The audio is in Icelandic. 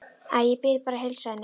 Æ, ég bið bara að heilsa henni